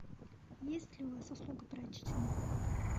есть ли у вас услуга прачечной